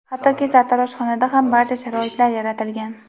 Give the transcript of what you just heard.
hattoki sartaroshxonada ham barcha sharoitlar yaratilgan.